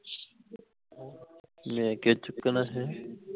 ਲੈ ਕੇ ਚੁੱਕ ਨਾ ਹੈਂ